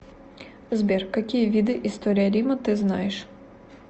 сбер какие виды история рима ты знаешь